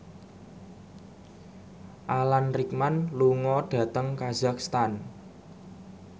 Alan Rickman lunga dhateng kazakhstan